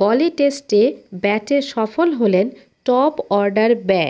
গলে টেস্টে ব্যাটে সফল হলেন টপ অর্ডার ব্য